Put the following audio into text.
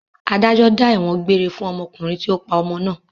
Adájọ́ dá ẹ̀wọ̀n gbére fún ọkùnrin tí ó pa ọmọ náà.